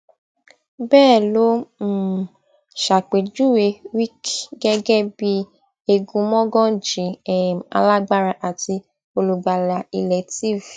bẹẹ ló um ṣàpèjúwe wike gẹgẹ bíi egunmọgànjì um alágbára àti olùgbàlà ilẹ tiv